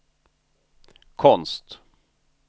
konst